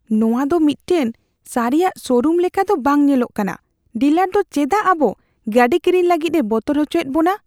ᱱᱚᱶᱟ ᱫᱚ ᱢᱤᱫᱴᱟᱝ ᱥᱟᱹᱨᱤᱭᱟᱜ ᱥᱳᱨᱩᱢ ᱞᱮᱠᱟ ᱫᱚ ᱵᱟᱝ ᱧᱮᱞᱚᱜ ᱠᱟᱱᱟ ᱾ ᱰᱤᱞᱟᱨ ᱫᱚ ᱪᱮᱫᱟᱜ ᱟᱵᱚ ᱜᱟᱹᱰᱤ ᱠᱤᱨᱤᱧ ᱞᱟᱹᱜᱤᱫᱼᱮ ᱵᱚᱛᱚᱨ ᱚᱪᱚᱭᱮᱫ ᱵᱚᱱᱟ ᱾